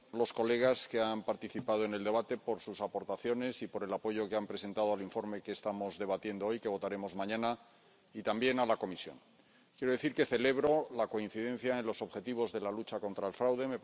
Señor presidente, quiero dar las gracias a los colegas que han participado en el debate por sus aportaciones y por el apoyo que han presentado al informe que estamos debatiendo hoy y que votaremos mañana, y también a la Comisión. Quiero decir que celebro la coincidencia en los objetivos de la lucha contra el fraude.